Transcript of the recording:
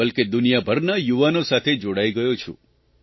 બલ્કે દુનિયાભરના યુવાનો સાથે જોડાઇ ગયો છું